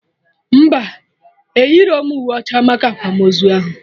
Mba, eyirọm uwe ọcha maka akwamozu ahụ